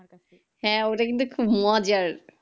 হ্যাঁ, ওটা কিন্তু খুব মজার